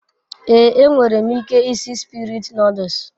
Ee, E nwerem ike isi Spirit noduls